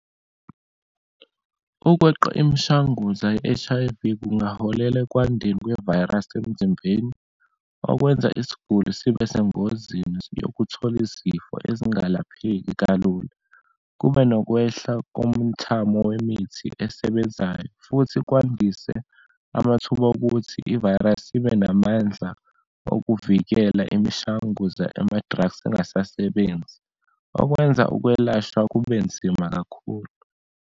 Ukweqa imishanguza ye-H_I_V kungaholela ekwandeni kwevayirasi emzimbeni, okwenza isiguli sibe sengozini yokuthola izifo ezingalapheki kalula. Kube nokwehla komthamo wemithi esebenzayo, futhi kwandise amathuba okuthi ivayirasi ibe namandla okuvikela imishanguza, ama-drugs angasasebenzi. Okwenza ukwelashwa kubenzima kakhulu.